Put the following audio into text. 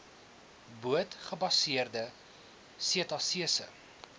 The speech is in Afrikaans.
boot gebaseerde setasese